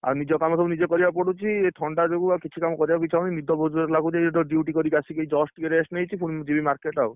ଆଉ ନିଜ କାମ ସବୁ ନିଜେ କରିବାକୁ ପଡୁଛି ଏ ଥଣ୍ଡା ଯୋଗୁ ଆଉ କିଛି କାମ କରିବାକୁ ଇଛା ହଉନି ନିଦ ବହୁ ଜୋରେ ଲାଗୁଛି ଏଇତ duty କରିକି ଆସିକି ଏଇ just ଟିକେ rest ନେଇଛି ଫୁଣି ଜୀବି market ଆଉ।